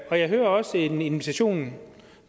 og jeg hører også en invitation